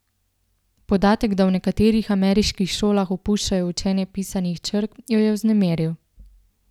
Podatek, da v nekaterih ameriških šolah opuščajo učenje pisanih črk, jo je vznemiril.